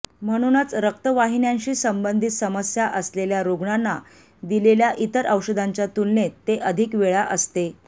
म्हणूनच रक्तवाहिन्यांशी संबंधित समस्या असलेल्या रुग्णांना दिलेल्या इतर औषधाच्या तुलनेत ते अधिक वेळा असते